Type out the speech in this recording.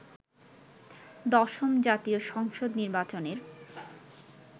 দশম জাতীয় সংসদ নির্বাচনের